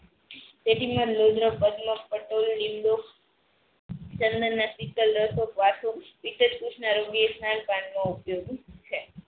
તેથીમ નો લોડ નો લીમડો ચંદનના શીતલ રસો સ્નાન પન માં ઉપયોગ છે.